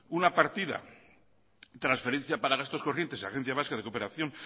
una partida transferencia para gastos corrientes agencia vasca de cooperación